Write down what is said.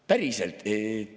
Päriselt.